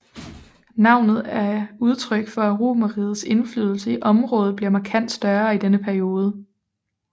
Navnet er udtryk for at Romerrigets indflydelse i området bliver markant større i denne periode